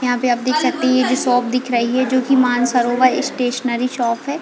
यहाँ पे आप देख सकते है ये जो शॉप दिख रही है जो की मानसरोवर स्टेशनरी शॉप है।